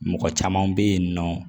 Mɔgɔ caman bɛ yen nɔ